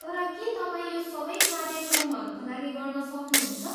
तर के तपाईँ यो सबै क्रार्यक्रमहरूका लागि गर्न सक्नुहुन्छ?